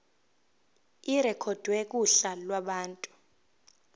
irekhodwe kuhla lwabantu